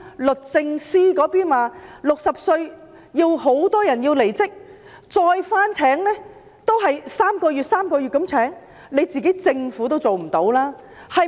律政司在報章上說很多60歲的人要離職，只是以3個月合約的形式重新聘用。